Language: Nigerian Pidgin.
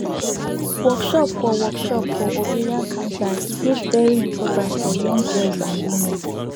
workshop for workshop for ovarian cancer dey very important for young girls and women